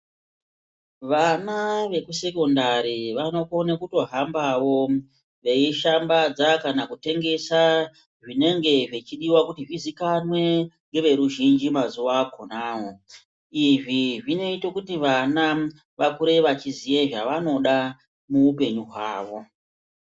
Vana vekusekondari vanokona kutohambavo veishambadza kana kuti veitengesa zvinenge zvechidiva kuti zvizikanwe ngeveruzhinji mazuva akonavo. Izvi zvinoite kuti mwana vakure vechiziye zvavanoda muupenyu hwavo.